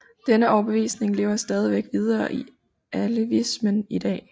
Denne overbevisning lever stadigvæk videre i alevismen i dag